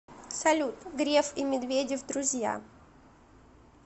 салют греф и медведев друзья